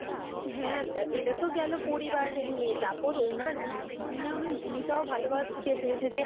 হ্যাঁ এইটাতো গেলো পরিবার নিয়ে। তারপর উনার জীবনে অনেক ভূমিকা ও ভালোভাবে পুঁটিকে তুলেছে।